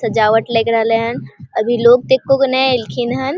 सजावट लग रहले हेन अभी लोग ते एको गो ने आइएले हन --